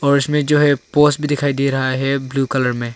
उसमें जो है पोश भी दिखाई दे रहा है ब्लू कलर में--